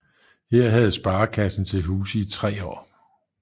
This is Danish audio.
Her havde sparekassen til huse i tre år